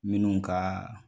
Minnu ka